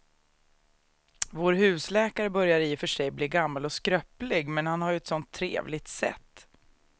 Vår husläkare börjar i och för sig bli gammal och skröplig, men han har ju ett sådant trevligt sätt!